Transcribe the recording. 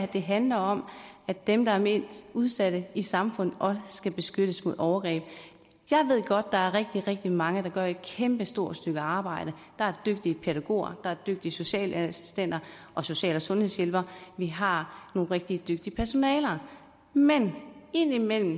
det handler om at dem der er mest udsatte i samfundet skal beskyttes mod overgreb jeg ved godt at der er rigtig rigtig mange der gør et kæmpestort stykke arbejde der er dygtige pædagoger der er dygtige socialassistenter og social og sundhedshjælpere vi har nogle rigtig dygtige personaler men indimellem